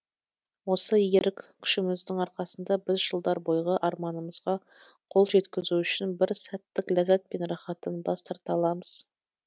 осы ерік күшіміздің арқасында біз жылдар бойғы арманымымызға қол жеткізу үшін бір сәттік ләззат пен рахаттан бас тарта аламыз